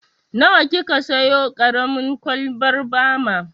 Nawa ki ka siyo ƙaramin kwalbar bama?